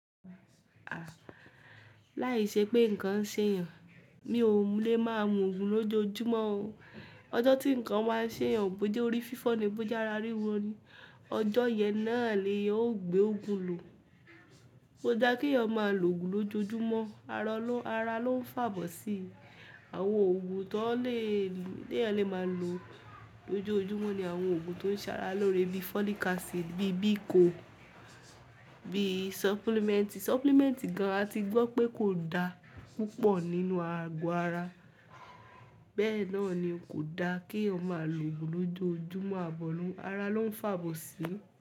À, láìṣẹ pé nǹkan ń ṣe èèyàn, mi ò lè má mú òògùn lójoojúmọ́ o. Ọjọ́ tí nǹkan máa ń ṣe èèyàn, bóyá orí fífọ́n ni, bóyá ara ríwọ́ ni, ọjọ́ yẹn náà lè yàn gbé òògùn lò. Kò dá kí èèyàn má lò òògùn lójoojúmọ́, ara ló ń fàbọ̀ sí. Àwọn òògùn tó lè-- tí èèyàn lè má lò lójoojúmọ́ ni àwọn òògùn tó ń ṣàrà lórí bí folic acid, bí Bico, bí supplement. Supplement gan, a ti gbọ́ pé kò da púpọ̀ nínú ago ara. Bẹ́ẹ̀ náà ní kò da kí èèyàn má lò òògùn lójoojúmọ́, ara ló ń fàbọ̀ sí.